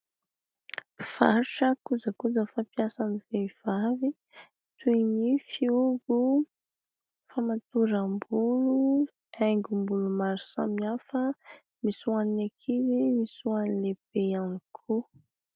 Mpivarotra kojakoja fampiasan'ny vehivavy toy ny : fihogo, famatoram-bolo, aingom-bolo maro samy hafa misy hoan'ny ankizy misy hoan'ny lehibe ihany koa.